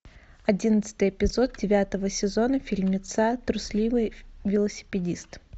одиннадцатый эпизод девятого сезона фильмеца трусливый велосипедист